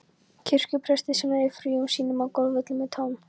kirkjupresti sem eyðir fríum sínum á golfvellinum með Tom